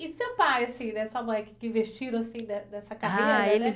E seu pai assim né, sua mãe, que que investiram assim né, nessa carreira né?